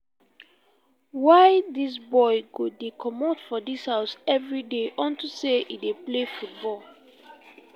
why dis boy go dey comot for dis house everyday unto say he dey play football?